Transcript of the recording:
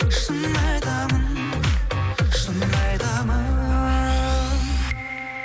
шын айтамын шын айтамын